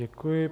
Děkuji.